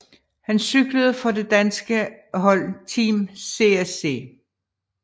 Han cyklede for det danske hold Team CSC